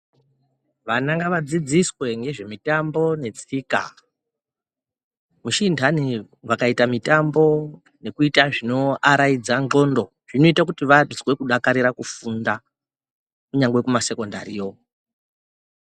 Vana ngavadzidziswe ngezvemitambo netsika. Misi inhani vakaita mitambo nezvinoaraidza ndxondo, zvinoite kuti vazwe kudakarire kufunda kunyangwe kumasekondariyo.